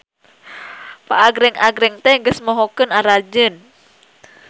Paagreng-agreng teh geus mohokeun aranjeun.